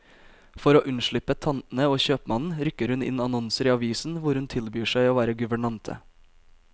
For å unnslippe tantene og kjøpmannen, rykker hun inn annonser i avisen hvor hun tilbyr seg å være guvernante.